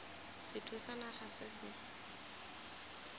sethwe sa naga se se